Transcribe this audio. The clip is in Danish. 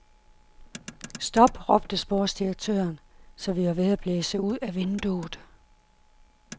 Stop, råbte sportsdirektøren, så vi var ved at blæse ud af vinduet.